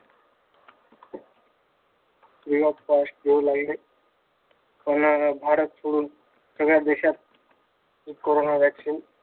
free of cost देऊ लागले. पण भारत सोडून सगळ्या देशात हे कोरोना वॅक्सीन